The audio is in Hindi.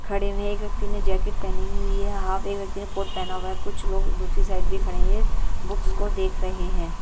खड़े हुए हैं एक व्यक्ति ने जैकेट पहनी हुई है हाफ एक व्यक्ति ने कोर्ट पहना हुआ है कुछ लोग दूसरी साइड भी खड़े हैं बुक्स को देख रहे हैं।